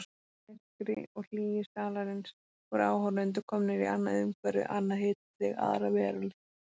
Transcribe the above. Í myrkri og hlýju salarins voru áhorfendur komnir í annað umhverfi, annað hitastig, aðra veröld.